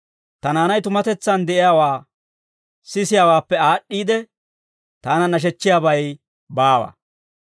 Ta naanay tumatetsaan de'iyaawaa sisiyaawaappe aad'd'iide, taana nashechchiyaabay baawa.